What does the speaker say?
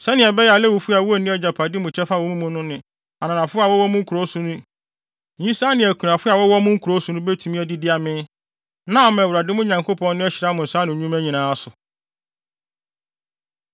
sɛnea ɛbɛyɛ a Lewifo a wonni agyapade mu kyɛfa wɔ mo mu no ne ananafo a wɔwɔ mo nkurow so ne nyisaa ne akunafo a wɔwɔ mo nkurow so no betumi adidi amee; na ama Awurade, mo Nyankopɔn no, ahyira mo nsa ano nnwuma nyinaa so.